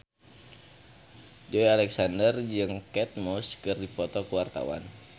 Joey Alexander jeung Kate Moss keur dipoto ku wartawan